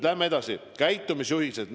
Läheme edasi: käitumisjuhised.